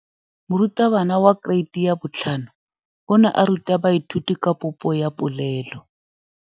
Moratabana wa kereiti ya 5 o ne a ruta baithuti ka popô ya polelô.